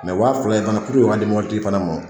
wa fila in fana puruke o ka di mɔbili tigi fana ma